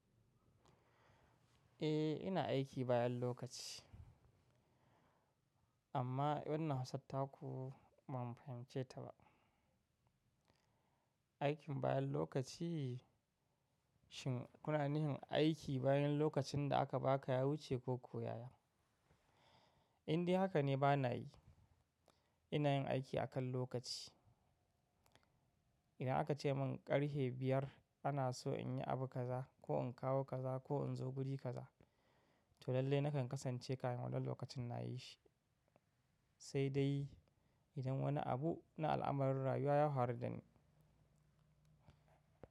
Eh ina aiki bayan lokaci amma wannan hausattaku ban fahimce ta ba. Aikin bayan lokaci shin kunanihin aiki bayan lokacin da aka ba ka ya wuce ko ko yaya. Indai haka ne bana yi. Ina yin aiki akan lokaci. Idan aka ce min ƙarhe biyar ana so in yi abu kaza ko in kawo kaza ko in zo guri kaza to lallai nakan kasance kahin wannan lokacin nayi shi saidai idan wani abu na al'amarin rayuwa ya farudani.